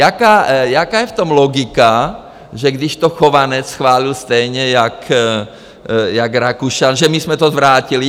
Jaká je v tom logika, že když to Chovanec schválil stejně jako Rakušan, že my jsme to zvrátili?